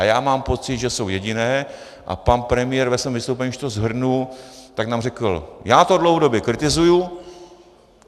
A já mám pocit, že jsou jediné, a pan premiér ve svém vystoupení, když to shrnu, tak nám řekl: Já to dlouhodobě kritizuji.